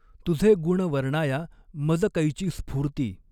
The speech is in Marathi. तुझे गुण वर्णाया मज कैची स्फ़ूर्ती।